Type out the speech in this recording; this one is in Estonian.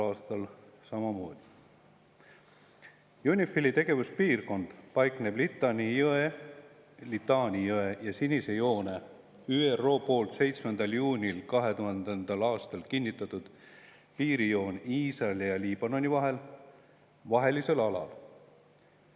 UNIFIL-i tegevuspiirkond paikneb Litani jõe ja Sinise joone – see on ÜRO poolt 7. juunil 2000. aastal kinnitatud piirijoon Iisraeli ja Liibanoni vahel – vahelisel alal.